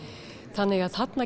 þannig að þarna